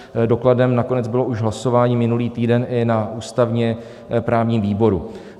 Dokladem nakonec bylo už hlasování minulý týden i na ústavně-právním výboru.